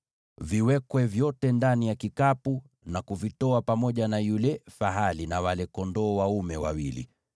Viwekwe vyote ndani ya kikapu na kuvitoa pamoja na yule fahali na wale kondoo dume wawili.